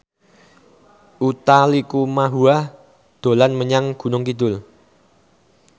Utha Likumahua dolan menyang Gunung Kidul